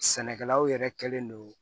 Sɛnɛkɛlaw yɛrɛ kɛlen don